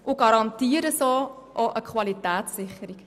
So garantieren sie auch eine Qualitätssicherung.